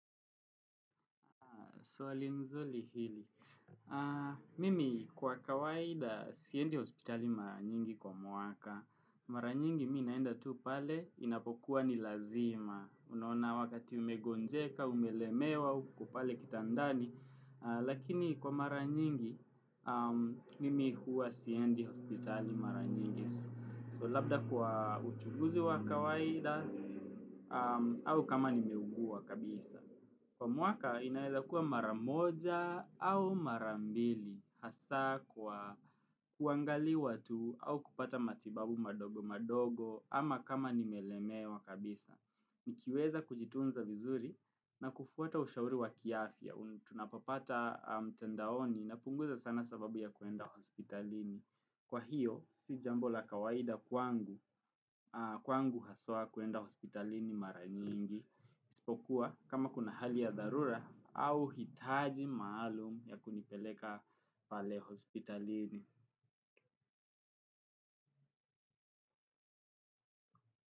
Swali nzuri hili. Mimi kwa kawaida siendi hospitali mara nyingi kwa mwaka. Mara nyingi mi naenda tu pale, inapokuwa ni lazima. Unaona wakati umegonjeka, umelemewa, uko pale kitandani. Lakini kwa mara nyingi, mimi huwa siendi hospitali mara nyingi. So labda kwa uchunguzi wa kawaida au kama nimeugua kabisa. Kwa mwaka inaeza kuwa maramoja au marambili hasa kwa kuangaliwa tu au kupata matibabu madogo madogo ama kama nimelemewa kabisa. Nikiweza kujitunza vizuri na kufuata ushauri wa kiafya. Tunapopata mtandaoni na punguza sana sababu ya kuenda hospitalini. Kwa hiyo si jambo la kawaida kwangu haswa kuenda hospitalini mara nyingi. Ispokuwa kama kuna hali ya dharura au hitaji maalum ya kunipeleka pale hospitalini.